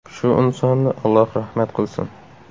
Shu insonni Alloh rahmat qilsin.